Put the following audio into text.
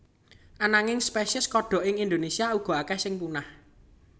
Ananging spesies kodhok ing Indonésia uga akéh sing punah